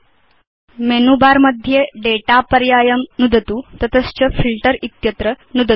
अधुना menu bar मध्ये data पर्यायं नुदतु तत च फिल्टर इत्यत्र नुदतु